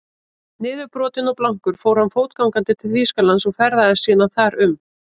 Niðurbrotinn og blankur fór hann fótgangandi til Þýskalands og ferðaðist síðan þar um.